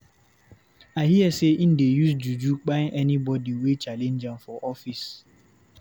I hear sey im dey use juju kpai anybodi wey challenge am for office.